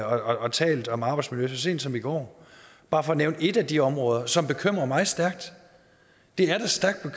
og talt om arbejdsmiljø sent som i går bare for at nævne et af de områder som bekymrer mig stærkt det